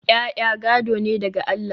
ya'ya gado ne daga Allah